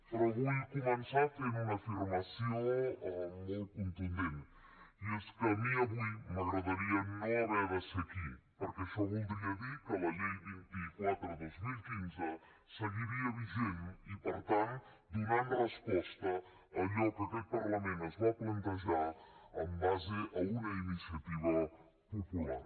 però vull començar fent una afirmació molt contundent i és que a mi avui m’agradaria no haver de ser aquí perquè això voldria dir que la llei vint quatre dos mil quinze seguiria vigent i per tant donant resposta a allò que aquest parlament es va plantejar en base a una iniciativa popular